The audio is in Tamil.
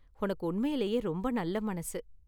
உனக்கு உண்மையிலேயே ரொம்ப நல்ல மனசு.